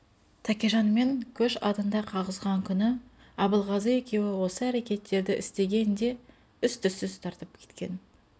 тәкежанмен көш адында қағысқан күні абылғазы екеуі осы әрекетті істеген де із-түзсіз тартып кеткен